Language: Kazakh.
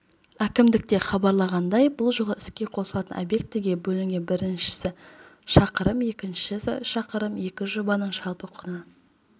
әкімдікте хабарлағандай бұл жол іске қосылатын объектіге бөлінген біріншісі шақырым екіншісі шақырым екі жобаның жалпы құны